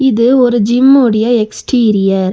இது ஒரு ஜிம்மோட எக்ஸ்டீரியர் .